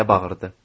Deyə bağırdı.